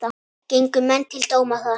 Gengu menn til dóma þar.